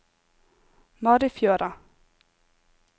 Marifjøra